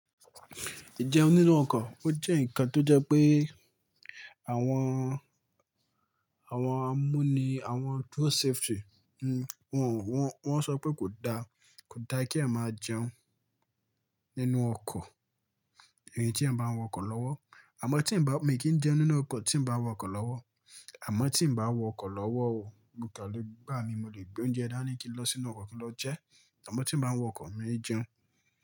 Ìjẹun nínú ọkọ̀, ó jẹ́ ǹkan tó jẹ́ pé àwọn, àwọn amúni, àwọn road safety, wọ́n, wọ́n sọ pé kò da, kò da kí a máa jẹun nínú ọkọ̀ ìyẹn tí a bá ń wa ọkọ̀ lọ́wọ́. Àmọ́ tí ń bá, mi kì n jẹun nínú ọkọ̀ tí ń bá wa ọkọ̀ lọ́wọ́. Àmọ́ tí ń bá wa ọkọ̀ lọ́wọ́ o, mo de lè ngbà mí, mo lè gbé oúnjẹ dání kí n lọ sínú ọkọ̀ kí n lọ jẹ ẹ́. Àmọ́ tí ń bá ń wọ ọkọ̀, mi ò jẹun.